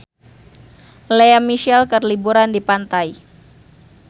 Lea Michele keur liburan di pantai